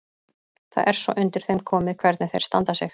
Það er svo undir þeim komið hvernig þeir standa sig.